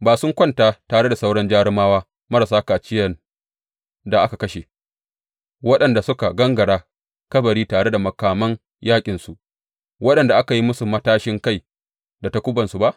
Ba sun kwanta tare da sauran jarumawa marasa kaciyan da aka kashe, waɗanda suka gangara kabari tare da makaman yaƙinsu, waɗanda aka yi musu matashin kai da takubansu ba?